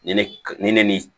Nin ne ni